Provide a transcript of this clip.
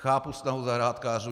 Chápu snahu zahrádkářů.